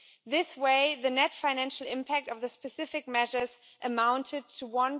This way the net financial impact of the specific measures amounted to EUR